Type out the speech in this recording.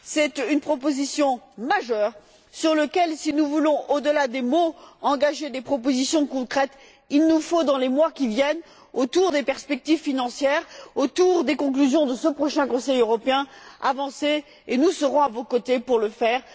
C'est une proposition majeure sur laquelle, si nous voulons, au delà des mots, engager des propositions concrètes, il nous faut avancer dans les mois qui viennent, autour des perspectives financière, autour des conclusions de ce prochain Conseil européen, et nous serons à vos côtés pour le faire.